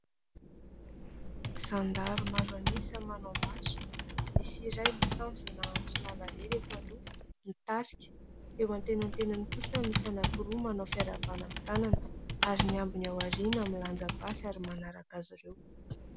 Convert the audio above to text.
Zandary maro an'isa manao matso, misy iray mitazona antsy lava lela eto aloha, mitarika. Eo antenantenany kosa misy anankiroa manao fiarahabana amin'ny tanana ary ny ambiny aoriana milanja basy ary manaraka azy ireo.